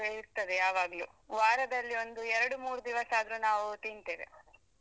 ನಮ್ದು ಇರ್ತದೆ ಯಾವಾಗ್ಲು ವಾರದಲ್ಲಿ ಒಂದು ಎರ್ಡು - ಮೂರು ದಿವಸಾದ್ರು ನಾವು ತಿಂತೇವೆ.